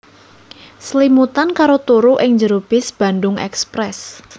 Slimutan karo turu ing jero bis Bandung Express